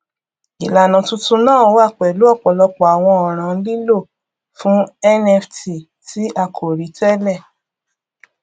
ìlànà tuntun náà wá pẹlú ọpọlọpọ àwọn ọràn lílò fún nft tí a kò rí tẹlẹ